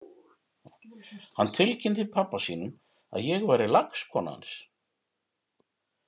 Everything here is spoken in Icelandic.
Hann tilkynnti pabba sínum að ég væri lagskona hans!